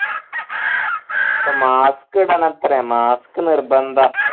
ഇപ്പൊ mask ഇടണത്രേ mask നിര്ബന്ധ